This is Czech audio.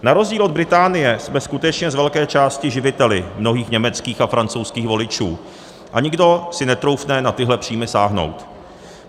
Na rozdíl od Británie jsme skutečně z velké části živiteli mnohých německých a francouzských voličů a nikdo si netroufne na tyhle příjmy sáhnout.